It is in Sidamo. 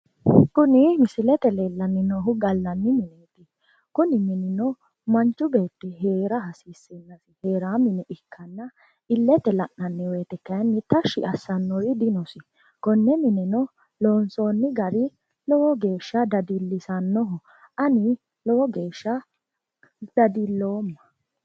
kuni misilete leellanni noohu gallanni mineeti kuni minino manchu beetti heera hasiissanno heeraa mine ikkanna illete la'nanni wote kayinni tashshi assannori dinosi konne mineno loonsoonni gari lowo geeshsha dadillisannoho ani lowo geeshsha dadilloomma.